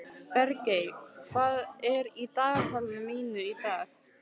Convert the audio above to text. Bergey, hvað er í dagatalinu mínu í dag?